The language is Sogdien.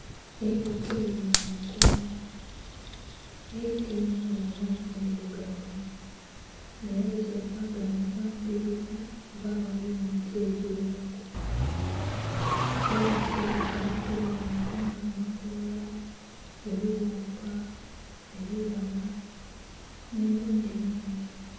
Eilike liri mu makoola, eilike linho lya langi ndhirugavu ng'era litera kwaganhibwa mu bibira oba aghali emiti egigheraku. Eilike litera kulya bintu nga amakoola, ebiwuuka, ebibala, nh'ebindhi bingi.